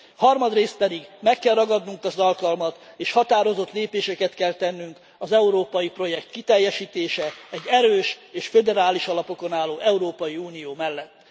Harmadrészt pedig meg kell ragadnunk az alkalmat és határozott lépéseket kell tennünk az európai projekt kiteljesítése, egy erős és föderális alapokon álló Európai Unió mellett.